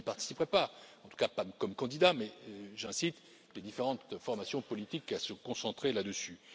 Je n'y participerai pas, en tout cas pas comme candidat, mais j'incite les différentes formations politiques à se concentrer là dessus.